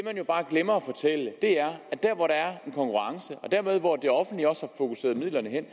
jo bare glemmer at fortælle at der hvor der er en konkurrence og dermed hvor det offentlige har fokuseret midlerne hen